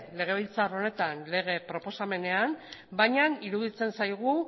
legebiltzar honetan lege proposamenean baina iruditzen zaigu